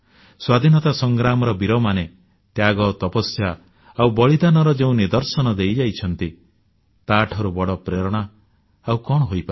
ସ୍ୱାଧୀନତା ସଂଗ୍ରାମର ବୀରମାନେ ତ୍ୟାଗ ତପସ୍ୟା ଆଉ ବଳିଦାନର ଯେଉଁ ନିଦର୍ଶନ ଦେଇଯାଇଛନ୍ତି ତାଠାରୁ ବଡ଼ ପ୍ରେରଣା ଆଉ କଣ ହୋଇପାରେ